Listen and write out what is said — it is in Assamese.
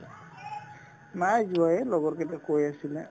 নাই যোৱা এই লগৰ কেইটাই কৈ আছিলে